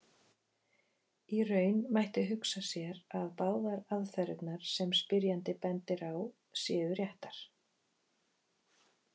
Í raun mætti hugsa sér að báðar aðferðirnar sem spyrjandi bendir á séu réttar.